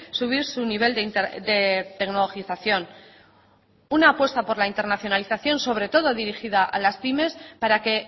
subir su nivel de tecnologización una apuesta por la internacionalización sobre todo dirigida a las pymes para que